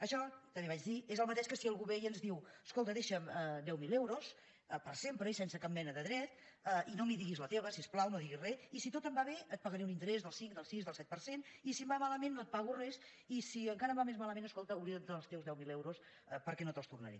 això també vaig dir és el mateix que si algú ve i ens diu escolta deixa’m deu mil euros per sempre i sense cap mena de dret i no hi diguis la teva si us plau no diguis res i si tot em va bé et pagaré un interès del cinc del sis del set per cent i si em va malament no et pago res i si encara em va més malament escolta oblida’t dels teus deu mil euros perquè no te’ls tornaré